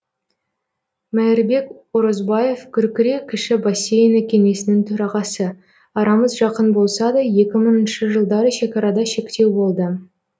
мээрбек орозбаев күркіре кіші бассейіні кеңесінің төрағасы арамыз жақын болса да екі мыңыншы жылдары шекарада шектеу болды